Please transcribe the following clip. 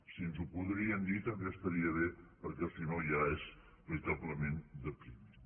si ens ho poguessin dir també estaria bé perquè si no ja és veritablement depriment